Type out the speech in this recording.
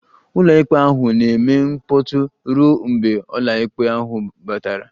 Ụlọikpe ahụ na-eme mkpọtụ ruo mgbe ọkàikpe ahụ batara